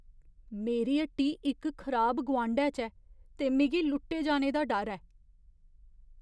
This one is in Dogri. मेरी हट्टी इक खराब गोआंढै च ऐ ते मिगी लुट्टे जाने दा डर ऐ।